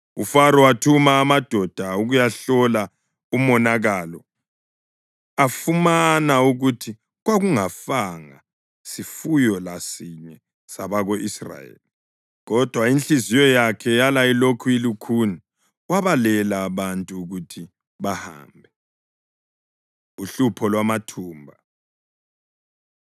UFaro wathuma amadoda ukuyahlola umonakalo afumana ukuthi kwakungafanga sifuyo lasinye sabako-Israyeli. Kodwa inhliziyo yakhe yala ilokhu ilukhuni, wabalela abantu ukuthi bahambe. Uhlupho Lwamathumba